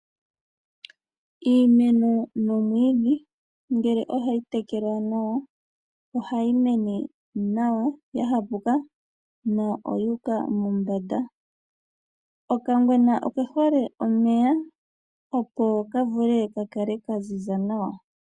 Iimeno nomwiidhi ngele ohayi tekelwa nawa, ohayi mene nawa ya hapuka no oyi uka mombanda. Okangwena oke hole omeya opo ka vule ka kale ka ziza nawa.